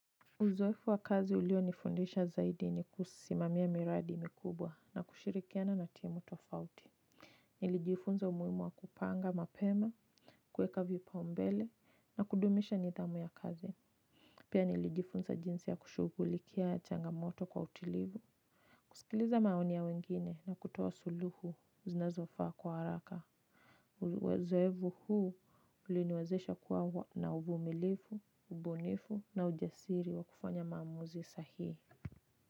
Uzoefu wa kazi ulionifundisha zaidi ni kusimamia miradi mikubwa na kushirikiana na timu tofauti. Nilijifunza umuhimu wa kupanga mapema, kuweka vipaumbele na kudumisha nidhamu ya kazi. Pia nilijifunza jinsi ya kushughulikia changamoto kwa utulivu. Kusikiliza maoni ya wengine na kutoa suluhu zinazofaa kwa haraka. Uzoefu huu uliniwezesha kuwa na uvumilivu, ubunifu na ujasiri wa kufanya maamuzi sahihi.